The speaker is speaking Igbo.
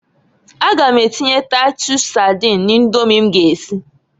A ga m atinye taitus sadin na Idomi m ga esi.